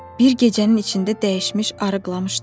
Bir gecənin içində dəyişmiş, arıqlamışdı.